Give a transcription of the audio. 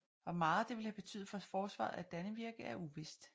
Hvor meget det ville have betydet for forsvaret af Dannevirke er uvist